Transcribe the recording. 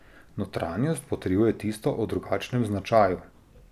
Notranjost potrjuje tisto o drugačnem značaju.